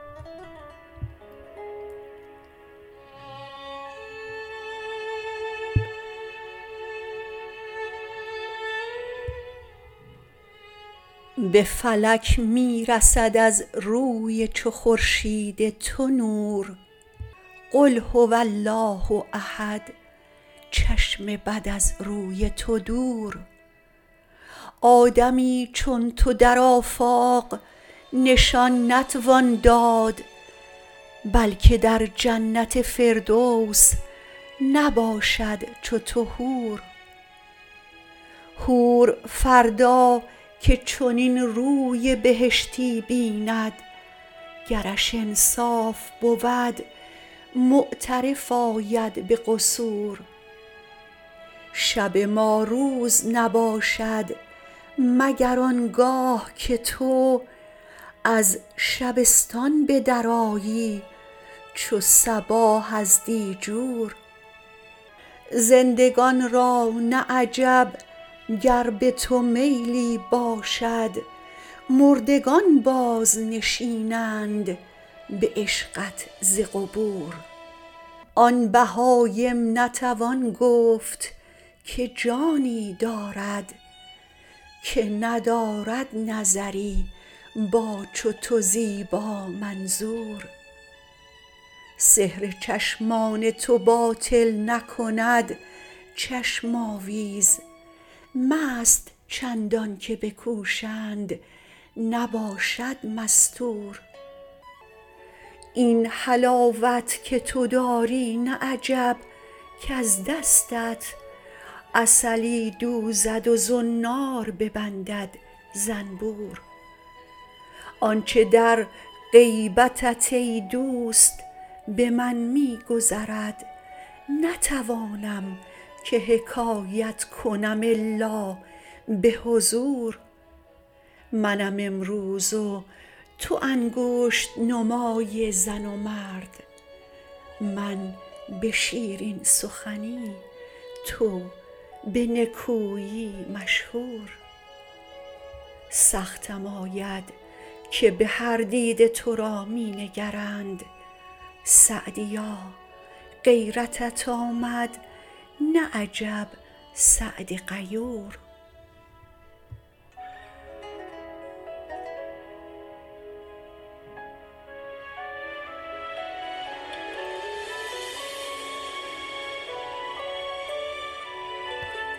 به فلک می رسد از روی چو خورشید تو نور قل هو الله احد چشم بد از روی تو دور آدمی چون تو در آفاق نشان نتوان داد بلکه در جنت فردوس نباشد چو تو حور حور فردا که چنین روی بهشتی بیند گرش انصاف بود معترف آید به قصور شب ما روز نباشد مگر آن گاه که تو از شبستان به درآیی چو صباح از دیجور زندگان را نه عجب گر به تو میلی باشد مردگان بازنشینند به عشقت ز قبور آن بهایم نتوان گفت که جانی دارد که ندارد نظری با چو تو زیبامنظور سحر چشمان تو باطل نکند چشم آویز مست چندان که بکوشند نباشد مستور این حلاوت که تو داری نه عجب کز دستت عسلی دوزد و زنار ببندد زنبور آن چه در غیبتت ای دوست به من می گذرد نتوانم که حکایت کنم الا به حضور منم امروز و تو انگشت نمای زن و مرد من به شیرین سخنی تو به نکویی مشهور سختم آید که به هر دیده تو را می نگرند سعدیا غیرتت آمد نه عجب سعد غیور